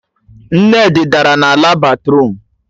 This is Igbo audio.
Nne di dara na ala batruum